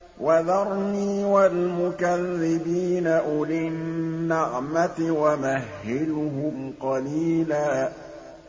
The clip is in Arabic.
وَذَرْنِي وَالْمُكَذِّبِينَ أُولِي النَّعْمَةِ وَمَهِّلْهُمْ قَلِيلًا